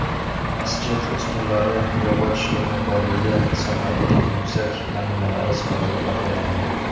Masjid ustunlari yog‘och o‘ymakorligi san’atining yuksak namunalari sifatida baholanadi.